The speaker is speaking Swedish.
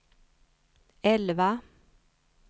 elva